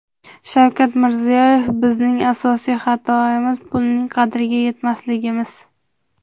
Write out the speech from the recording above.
Shavkat Mirziyoyev: Bizning asosiy xatoimiz pulning qadriga yetmasligimiz!.